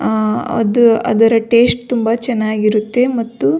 ಆ ಅದು ಅದರ ಟೇಸ್ಟ್ ತುಂಬಾ ಚೆನ್ನಾಗಿರುತ್ತೆ ಮತ್ತು --